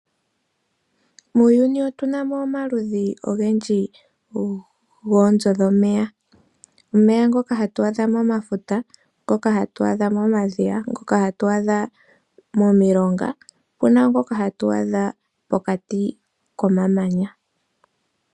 Muuyuni otunamo omaludhi goonzo dhomeya. Omeya ngoka hatu adha momafuta, momadhiya, momilonga, opuna wo ngoka hatu adha pokati komamanya.